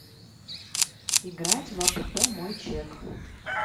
играть в апп мой чек